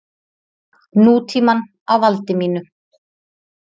Nútímann á valdi mínu.